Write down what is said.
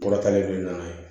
Kɔrɔtalen dun nana ye